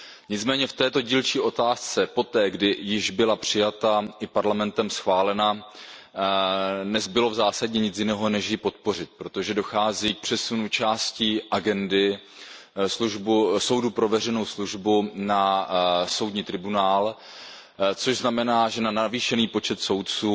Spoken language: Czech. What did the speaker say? Nicméně v této dílčí otázce poté, kdy již byla přijata i schválena Parlamentem, nezbylo v zásadě nic jiného, než ji podpořit, protože dochází k přesunu částí agendy Soudu pro veřejnou službu na Tribunál, což znamená, že na navýšený počet soudců